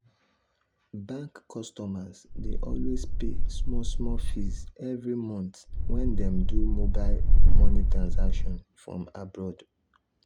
bank customers dey always pay small small fees every month when dem do mobile money transactions from abroad.